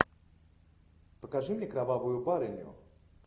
покажи мне кровавую барыню